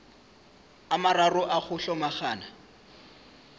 a mararo a go hlomagana